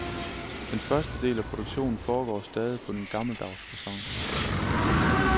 Den første del af produktionen foregår stadig på den gammeldaws facon.